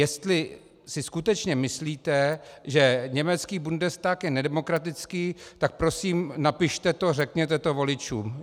Jestli si skutečně myslíte, že německý Bundestag je nedemokratický, tak prosím napište to, řekněte to voličům.